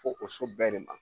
Fo o so bɛɛ de ma